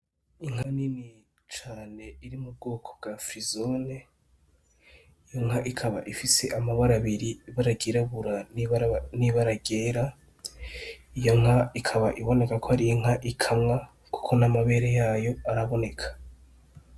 Inka nini cane iri mu bwoko bwa frizone, inka ikaba ifise amabara abiri, ibara ryirabura n'ibara ryera. Iyo nka ikaba iboneka ko ari inka ikamwa kuko n'amabere yayo araboneka.